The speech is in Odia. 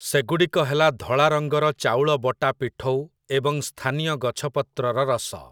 ସେଗୁଡ଼ିକ ହେଲା ଧଳା ରଙ୍ଗର ଚାଉଳ ବଟା ପିଠଉ ଏବଂ ସ୍ଥାନୀୟ ଗଛପତ୍ରର ରସ ।